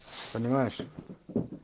понимаешь